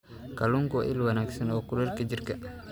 Kalluunku waa il wanaagsan oo kulaylka jirka.